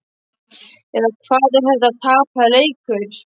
Eða hvað. er þetta tapaður leikur?